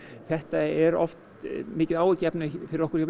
þetta er oft mikið áhyggjuefni fyrir okkur hjá